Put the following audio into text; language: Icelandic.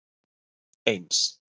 eins